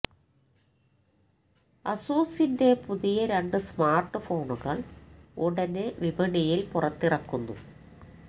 അസൂസിന്റെ പുതിയ രണ്ടു സ്മാർട്ട് ഫോണുകൾ ഉടനെ വിപണിയിൽ പുറത്തിറക്കുന്നു